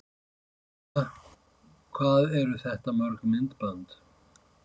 María: Hvað eru þetta mörg myndbönd?